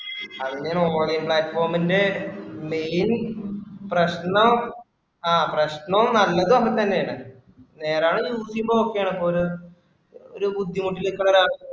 അതിന്റെയാണ് online platform ഇന്റെ main പ്രശ്‍നം ആ പ്രശ്‍നോം നല്ലതും ഒക്കെ തന്നെ ആണ്. നേരാവണ്ണം use ചെയ്യുമ്പോ okay ആണ് ഇപ്പൊ ഒരു ബുദ്ധിമുട്ടില് ഇപ്പൊ ഒരാള്